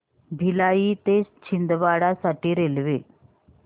भिलाई ते छिंदवाडा साठी रेल्वे